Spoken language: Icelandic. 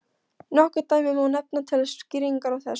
Nokkur dæmi má nefna til skýringar á þessu.